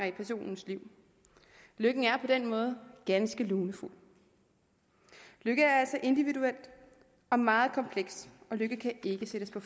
i personens liv lykken er på den måde ganske lunefuld lykke er altså individuel og meget kompleks og lykke kan ikke sættes på